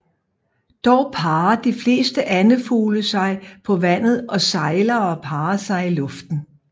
Dog parrer de fleste andefugle sig på vandet og sejlere parrer sig i luften